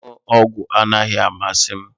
Ịṅụ ọgwụ anaghị amasị m